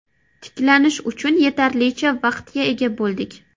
Tiklanish uchun yetarlicha vaqtga ega bo‘ldik”.